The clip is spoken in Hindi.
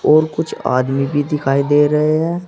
और कुछ आदमी भी दिखाई दे रहे हैं।